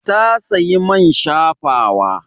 Ta sayi man shafawa.